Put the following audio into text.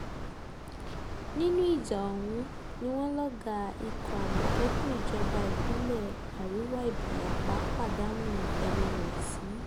nínú ìjà ọ̀hún ni wọ́n lọ́gàá ikọ̀ àmọ̀tẹ́kùn ìjọba ìbílẹ̀ àríwá ìbarapá pàdánù ẹ̀mí ẹ̀ sí